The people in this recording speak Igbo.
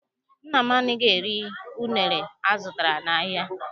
Nna m anaghị eri unere azụtara n'ahịa.